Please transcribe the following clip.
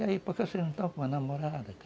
E aí, por que vocês não estão com uma namorada, cara?